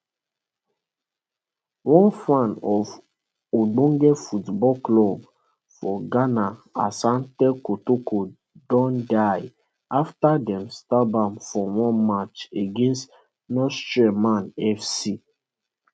one fan of ogbonge football club for ghana asante kotoko don die afta dem stab am for one match against nsoatreman fc